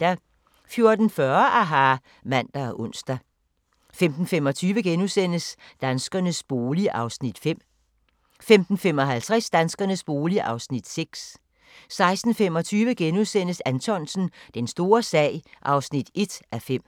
14:40: aHA! (man og ons) 15:25: Danskernes bolig (Afs. 5)* 15:55: Danskernes bolig (Afs. 6) 16:25: Anthonsen – Den store sag (1:5)*